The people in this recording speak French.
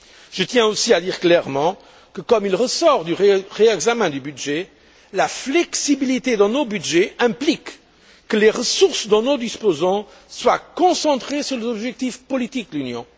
Je tiens aussi à dire clairement que, comme il ressort du réexamen du budget, la flexibilité dans nos budgets implique que les ressources dont nous disposons soient concentrées sur les objectifs politiques de l'Union.